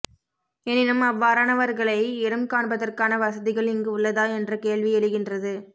எனினும் அவ்வாறனவர்களை இனம்காண்பதற்கான வசதிகள் இங்கு உள்ளதா என்ற கேள்வி எழுகின்றது